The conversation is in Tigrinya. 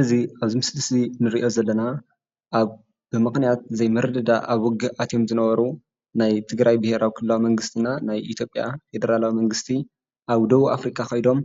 እዚ ኣብዚ ምስሊ እዚ ንሪኦ ዘለና ኣብ ብምኽንያት ዘይምርድዳእ ኣብ ውግእ ኣትዮም ዝነበሩ ናይ ትግራይ ብሄራዊ ክልላዊ መንግስቲ እና ናይ ኢትዮጵያ ፌደራላዊ መንግስቲ ኣብ ደቡብ ኣፍሪካ ከይዶም